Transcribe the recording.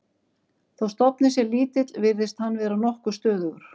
Þó stofninn sé lítill virðist hann vera nokkuð stöðugur.